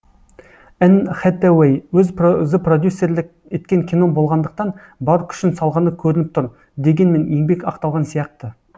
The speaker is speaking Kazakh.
энн хэтэуэй өзі продюссерлік еткен кино болғандықтан бар күшін салғаны көрініп тұр дегенмен еңбек ақталған сияқты